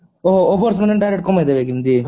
ଓଃ ହୋ overs ମାନେ direct କମେଇ ଦେବେ କି ଏମିତି